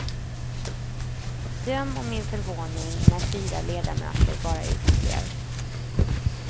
Döm om min förvåning när fyra ledamöter bara uteblev.